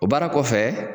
O baara kɔfɛ